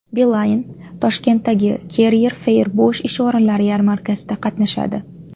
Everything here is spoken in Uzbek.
Beeline Toshkentdagi Career Fair bo‘sh ish o‘rinlari yarmarkasida qatnashadi.